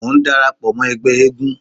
Mò ń dara pọ̀ mọ́ ẹgbẹ́ eégún.